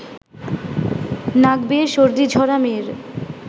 নাক বেয়ে সর্দি ঝরা মেয়ের